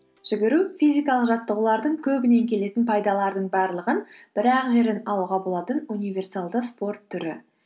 жүгіру физикалық жаттығулардың көбінен келетін пайдалардың барлығын бір ақ жерден алуға болатын универсалды спорт түрі